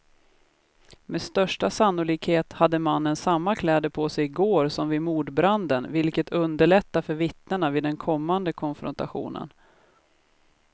Med största sannolikhet hade mannen samma kläder på sig i går som vid mordbranden, vilket underlättar för vittnena vid den kommande konfrontationen.